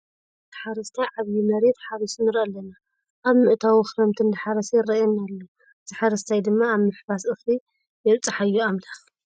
እዚ ህርኩት ሓረስታይ ዓብይ መሬት ሓሪሱ ንርኢ ኣለና። ኣብ ምእታው ክረምቲ እንዳሓረሰ ይረአየና ኣሎ። እዚ ሓረስታይ ድማ ኣብ ምሕፋስ እክሊ የብፃሕዮ ኣምላክ።